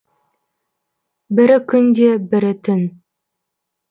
бірі күн де бірі түн